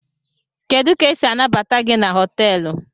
Kedu ka esi anabata GI na hotelu?